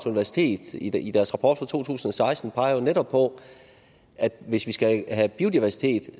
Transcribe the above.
universitet i deres rapport fra to tusind og seksten netop peger på at hvis vi skal have biodiversitet